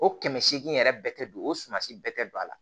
O kɛmɛ seegin yɛrɛ bɛ don o suman si bɛɛ tɛ don a la